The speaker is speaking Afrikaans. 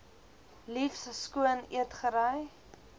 liefs skoon eetgerei